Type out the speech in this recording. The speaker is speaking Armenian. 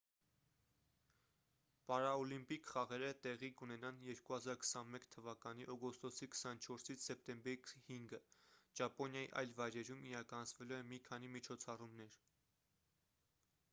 պարաօլիմպիկ խաղերը տեղի կունենան 2021 թ օգոստոսի 24-ից սեպտեմբերի 5-ը ճապոնիայի այլ վայրերում իրականացվելու են մի քանի միջոցառումներ